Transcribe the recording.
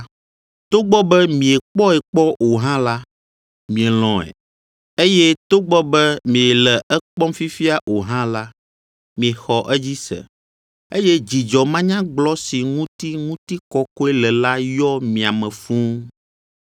Togbɔ be miekpɔe kpɔ o hã la, mielɔ̃e, eye togbɔ be miele ekpɔm fifia o hã la, miexɔ edzi se, eye dzidzɔ manyagblɔ si ŋuti ŋutikɔkɔe le la yɔ mia me fũu,